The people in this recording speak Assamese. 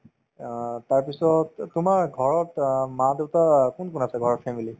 অ, তাৰপিছত তোমাৰ ঘৰত অ মা-দেউতা কোন কোন আছে বাৰু family ত